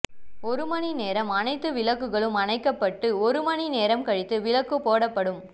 ஒரு மணி நேரம் அனைத்து விளக்குகளும் அணைக்கப்பட்டு ஒரு மணி நேரம் கழித்து விளக்கு போடப்படும்